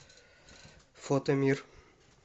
фото мир